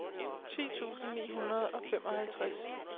ti tusind ni hundrede og femoghalvtreds